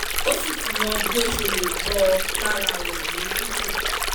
ó sì ti mọ bí ó ṣe lè bọ́ lára rẹ̀ ní tútù